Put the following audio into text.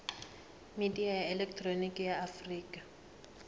midia ya elekihironiki ya afurika